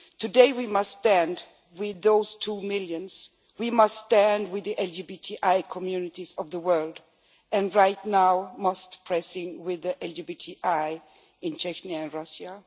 Today we must stand with those two million. We must stand with the LGBTI communities of the world and, right now and most pressingly, with the LGBTI people in Chechnya and Russia.